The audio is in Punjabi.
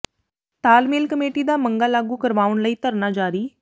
ਤਾਲਮੇਲ ਕਮੇਟੀ ਦਾ ਮੰਗਾਂ ਲਾਗੂ ਕਰਵਾਉਣ ਲਈ ਧਰਨਾ ਜਾਰੀ